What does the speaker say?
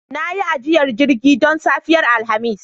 Na yi ajiyar jirgi don safiyar Alhamis